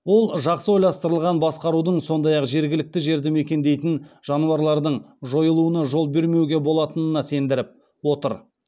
ол жақсы ойластырылған басқарудың сондай ақ жергілікті жерді мекендейтін жануарлардың жойылуына жол бермеуге болатынына сендіріп отыр